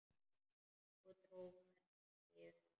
Og dró hvergi undan.